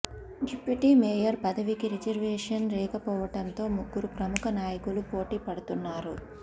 deputy mayor పదవికి reservation లేకపోవడంతో ముగ్గురు ప్రముఖ నాయకులు పోటీ పడుతున్నారు